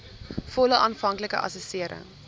volle aanvanklike assessering